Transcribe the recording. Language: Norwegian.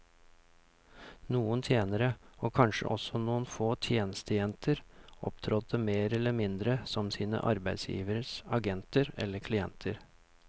Noen tjenere, og kanskje også noen få tjenestejenter, opptrådte mer eller mindre som sine arbeidsgiveres agenter eller klienter.